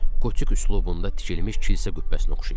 Qotik üslubunda tikilmiş kilsə qübbəsinə oxşayırdı.